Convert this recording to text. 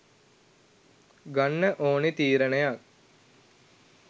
ගන්න ඕනේ තීරණයක්.